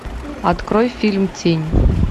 открой фильм тень